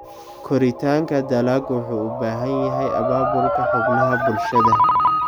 Koritaanka dalaggu wuxuu u baahan yahay abaabulka xubnaha bulshada.